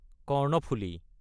Karnaphuli